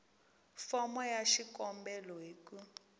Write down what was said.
fomo ya xikombelo hi ku